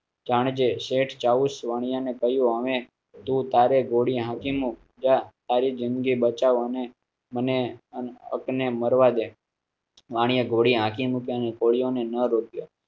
વાણિયા ને કહ્યું, અમે તો તારે ગોળી હા, તારી જ઼િંદગી બચાવ અને મને એકને મરવા દે. વાણિયા ઘોડી આખી મુખ્યત્વે કોળી અને ન રોકિયો